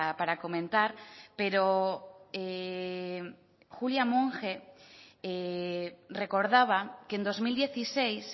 para comentar pero julia monge recordaba que en dos mil dieciséis